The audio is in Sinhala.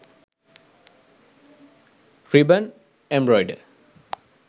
ribbon embroider